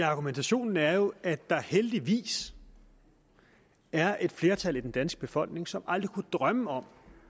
argumentationen er jo at der heldigvis er et flertal i den danske befolkning som aldrig kunne drømme om